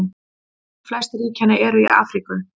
Flest ríkjanna eru í Afríku.